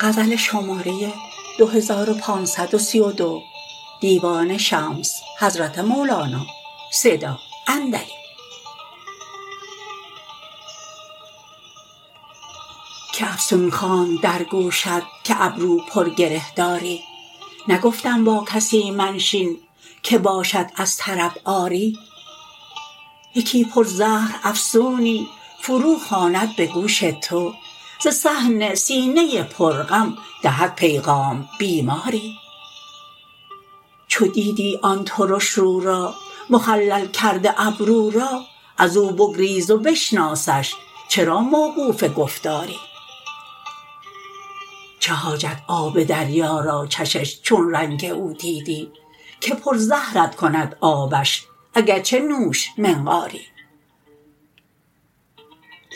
کی افسون خواند در گوشت که ابرو پر گره داری نگفتم با کسی منشین که باشد از طرب عاری یکی پر زهر افسونی فرو خواند به گوش تو ز صحن سینه پر غم دهد پیغام بیماری چو دیدی آن ترش رو را مخلل کرده ابرو را از او بگریز و بشناسشچرا موقوف گفتاری چه حاجت آب دریا را چشش چون رنگ او دیدی که پر زهرت کند آبش اگر چه نوش منقاری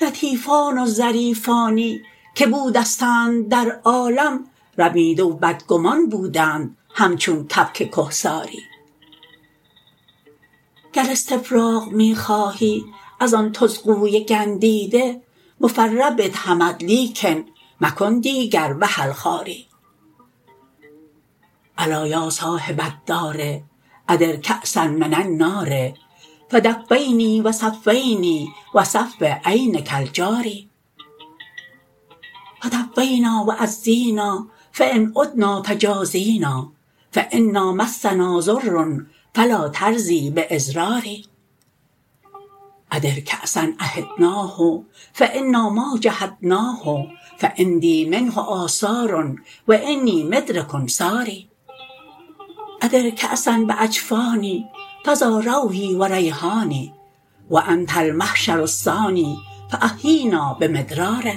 لطیفان و ظریفانی که بودستند در عالم رمیده و بدگمان بودند همچون کبک کهساری گر استفراغ می خواهی از آن طزغوی گندیده مفرح بدهمت لیکن مکن دیگر وحل خواری الا یا صاحب الدار ادر کأسا من النار فدفینی و صفینی و صفو عینک الجاری فطفینا و عزینا فان عدنا فجازینا فانا مسنا ضر فلا ترضی باضراری ادر کأسا عهدناه فانا ما جحدناه فعندی منه آثار و انی مدرک ثاری ادر کأسا باجفانی فدا روحی و ریحانی و انت المحشر الثانی فاحیینا بمدرار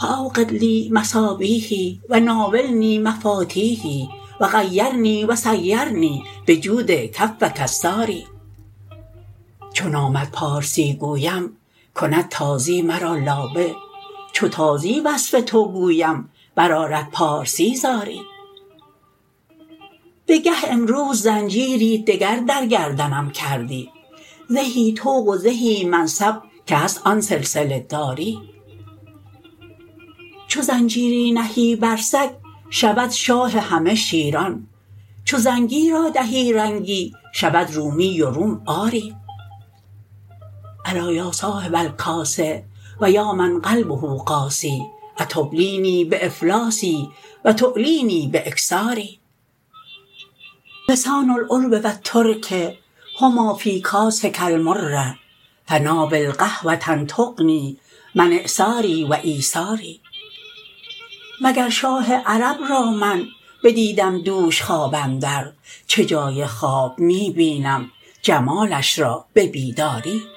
فاوقد لی مصابیحی و ناولنی مفاتیحی و غیرنی و سیرنی بجود کفک الساری چو نامت پارسی گویم کند تازی مرا لابه چو تازی وصف تو گویم برآرد پارسی زاری بگه امروز زنجیری دگر در گردنم کردی زهی طوق و زهی منصب که هست آن سلسله داری چو زنجیری نهی بر سگ شود شاه همه شیران چو زنگی را دهی رنگی شود رومی و روم آری الا یا صاحب الکاس و یا من قلبه قاسی اتبلینی بافلاسی و تعلینی باکثاری لسان العرب و الترک هما فی کاسک المر فناول قهوه تغنی من اعساری و ایساری مگر شاه عرب را من بدیدم دوش خواب اندر چه جای خواب می بینم جمالش را به بیداری